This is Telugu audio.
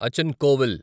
అచన్ కోవిల్